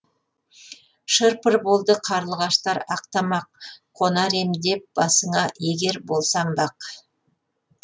шыр пыр болды қарлығаштар ақ тамақ қонар ем деп басыңа егер болсам бақ